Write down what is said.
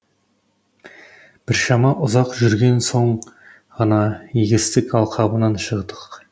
біршама ұзақ жүрген соң ғана егістік алқабынан шықтық